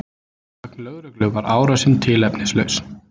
Að sögn lögreglu var árásin tilefnislaus